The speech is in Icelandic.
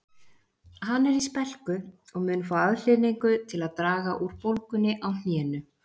Hann er í spelku og mun fá aðhlynningu til að draga úr bólgunni á hnénu